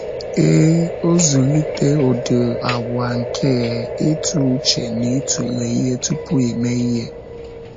Ee, ọzụlite ụdị àgwà nke ịtụ uche na ịtụle ihe tupu ime ihe.